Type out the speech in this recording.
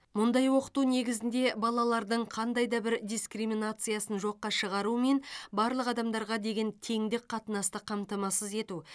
мұндай оқыту негізінде балалардың қандай да бір дискриминациясын жоққа шығару мен барлық адамдарға деген теңдік қатынасты қамтамасыз ету